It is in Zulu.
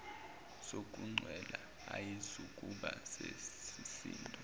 sokuncela ayizukuba besisindo